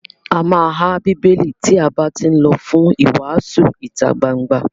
A má há Bíbélì tí a bá tí lọ fún ìwàásù ìtagbangba.